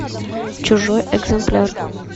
чужой экземпляр